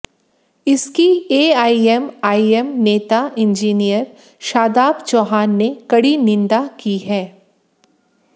इसकी एआईएमआईएम नेता इंजीनियर शादाब चौहान ने कड़ी निंदा की है